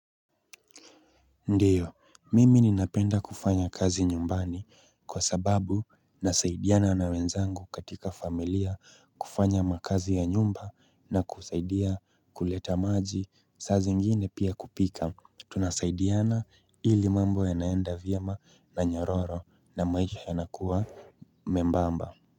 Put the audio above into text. Ndio mimi ninapenda kufanya kazi nyumbani kwa sababu nasaidiana na wenzangu katika familia kufanya makazi ya nyumba na kusaidia kuleta maji saa zingine pia kupika tunasaidiana ili mambo ya naenda vyema na nyororo na maisha ya lnakuwa membamba.